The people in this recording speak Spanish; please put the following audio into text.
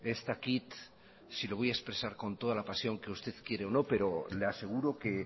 ez dakit si lo voy a expresar con toda la pasión que usted quiere o no pero le aseguro que